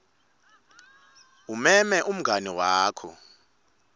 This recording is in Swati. umeme umngani wakho